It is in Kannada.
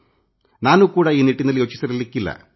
ನಾನೂ ಕೂಡಾ ಈ ನಿಟ್ಟಿನಲ್ಲಿ ಯೋಚಿಸಿರಲಿಕ್ಕಿಲ್ಲ